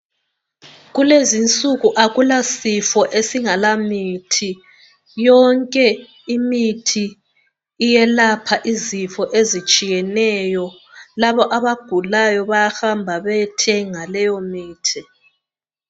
Kulezinsuku akulasifo esingalamithi yonke imithi iyelapha izifo ezitshiyeneyo laba abagulayo bayahamba bayothenga imithi.